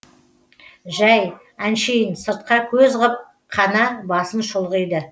жай әншейін сыртқа көз ғып қана басын шұлғиды